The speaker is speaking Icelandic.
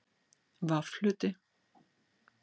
V Hluti